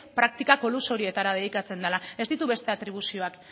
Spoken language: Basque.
praktika kolusioetara dedikatzen dela ez ditu beste atribuzioak